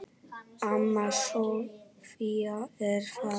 Amma Soffía er fallin.